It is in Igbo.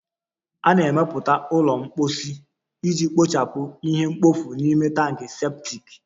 A na-emepụta ụlọ mposi iji kpochapụ ihe mkpofu n'ime tankị septic